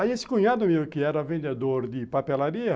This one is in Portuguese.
Aí esse cunhado meu, que era vendedor de papelaria,